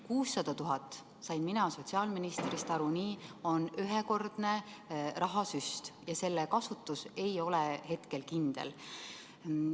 600 000 eurot – nii sain mina sotsiaalministrist aru – on ühekordne rahasüst ja selle kasutus ei ole hetkel kindel.